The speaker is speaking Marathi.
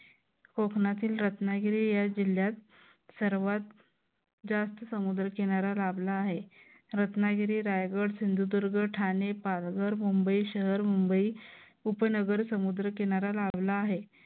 कोकणातील रत्नागिरी या जिल्ह्यात सर्वात जास्त समुद्र किनारा लाभला आहे रत्नागिरी रायगड सिंधुदुर्ग ठाणे पालघर मुंबई शहर मुंबई उपनगर समुद्र किनारा लाभला आहे.